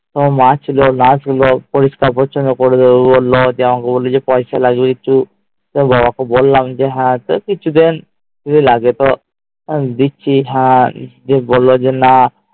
তোমার মা ছিল nurse ছিল পরিষ্কার পরিচন্ন করবে তো বললো আমাকে বললো যে পয়সা লাগবে একটু তোমার বাবাকে বললাম যে হাতে কিছুদিন যদি লাগে তো দিচ্ছি হ্যাঁ আর দিয়ে বললো যে না